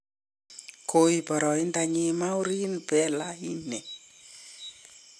koib boraindonyin marouane fellaini